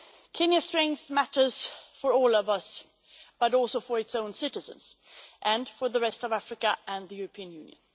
Kenya's strength matters for all of us, but also for its own citizens and for the rest of Africa and the European Union.